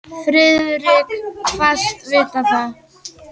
Friðrik kvaðst vita það.